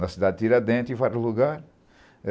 Na cidade de Tiradentes, em vários lugares.